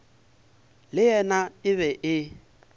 le yena e be e